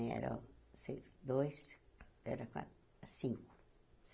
Eram seis, dois, era quatro, cinco.